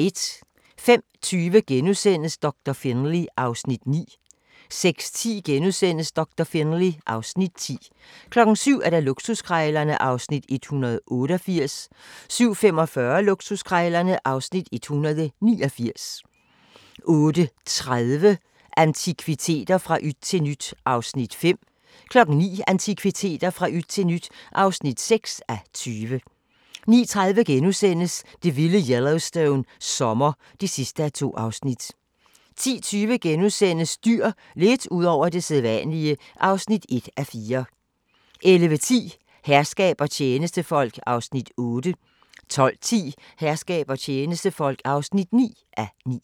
05:20: Doktor Finlay (Afs. 9)* 06:10: Doktor Finlay (Afs. 10)* 07:00: Luksuskrejlerne (Afs. 188) 07:45: Luksuskrejlerne (Afs. 189) 08:30: Antikviteter – fra yt til nyt (5:20) 09:00: Antikviteter – fra yt til nyt (6:20) 09:30: Det vilde Yellowstone - sommer (2:2)* 10:20: Dyr – lidt ud over det sædvanlige (1:4)* 11:10: Herskab og tjenestefolk (8:9) 12:10: Herskab og tjenestefolk (9:9)